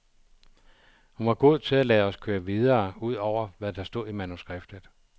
Hun var god til at lade os køre videre ud over, hvad der stod i manuskriptet.